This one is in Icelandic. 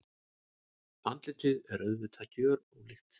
Andlitið er auðvitað gjörólíkt.